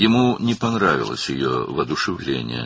Onun həvəsi xoşuna gəlmədi.